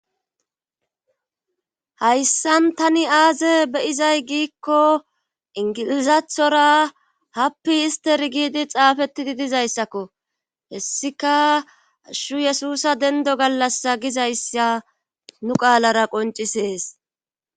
hayssan tani aaze beyizay giikko ingilizathora happi ister giidi xaafettidi dizayssakko hessika ashu yesusa dendo gallassa gizayssa nu qaalara qoncisees